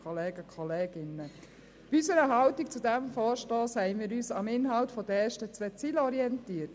Für unsere Haltung zu diesem Vorstoss haben wir uns am Inhalt der ersten zwei Zeilen der Motion orientiert.